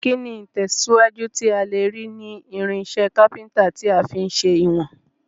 Kíni ìtẹ̀síwájú tí a lèrí ni irinsẹ́ Kápẹ́ńtà ti a fi n se ìwòn